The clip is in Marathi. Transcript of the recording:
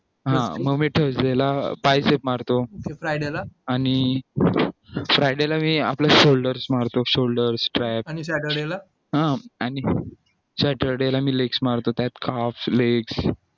मग मी thursday ला tricep मारतो पण friday ला मी आपल्या shoulders मारतो shoulder track आणि saturday ला legs मारतो त्यात legs